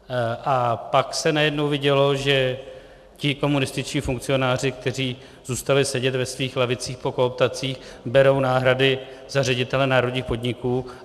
A pak se najednou vidělo, že ti komunističtí funkcionáři, kteří zůstali sedět ve svých lavicích po kooptacích, berou náhrady za ředitele národních podniků.